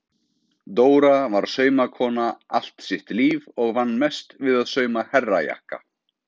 Dóra var saumakona allt sitt líf og vann mest við að sauma herrajakka.